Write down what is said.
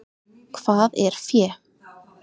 Hvað er fé?